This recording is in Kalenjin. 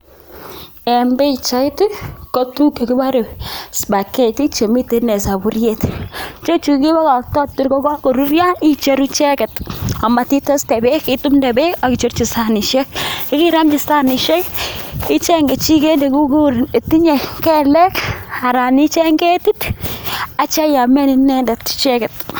En pichait kotuguk chekibore spaghetti chemiten soburiet. Icheju kebokokto tor kagoruryo icheru icheget amat iteste beek itumde beek ak icherji sanishek iromchi sanishek icheng kechiget ne tinye kelek anan icheng ketit ak kityo iamen icheget.